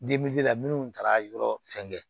la minnu taara yɔrɔ fɛngɛ